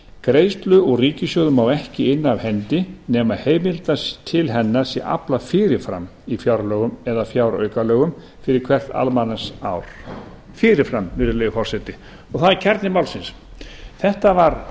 greiðslu úr ríkissjóði má ekki inna af hendi nema heimildar til hennar sé aflað fyrir fram í fjárlögum eða fjáraukalögum fyrir hvert almanaksár fyrir fram virðulegi forseti og það er kjarni málsins þetta var